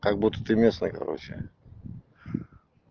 как-будто ты местная короче